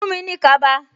Fuhn mi ní kaba